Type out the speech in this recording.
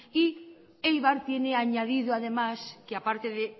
y eibar tiene añadido además que aparte de